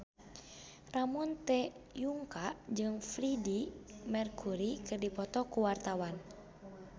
Ramon T. Yungka jeung Freedie Mercury keur dipoto ku wartawan